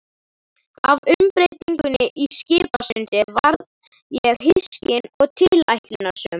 Af umbreytingunni í Skipasundi varð ég hyskin og tilætlunarsöm.